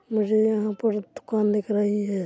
मुझे यहाँ पूरा दुकान दिख रही है।